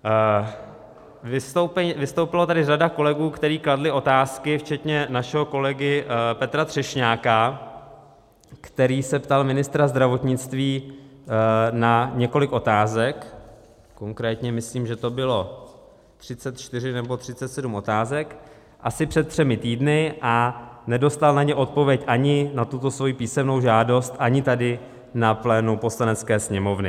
Vystoupila tady řada kolegů, kteří kladli otázky, včetně našeho kolegy Petra Třešňáka, který se ptal ministra zdravotnictví na několik otázek, konkrétně myslím, že to bylo 34 nebo 37 otázek, asi před třemi týdny a nedostal na ně odpověď, ani na tuto svoji písemnou žádost , ani tady na plénu Poslanecké sněmovny.